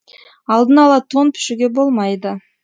алдын ала тон пішуге болмайды